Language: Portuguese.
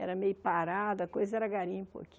Era meio parado, a coisa era garimpo aqui.